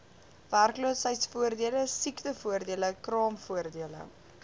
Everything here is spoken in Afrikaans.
werkloosheidvoordele siektevoordele kraamvoordele